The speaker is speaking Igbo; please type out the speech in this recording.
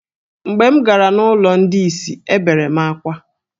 Mgbe m gara n’ụlọ ndị ìsì, ebere m akwa.